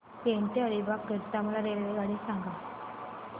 पेण ते अलिबाग करीता मला रेल्वेगाडी सांगा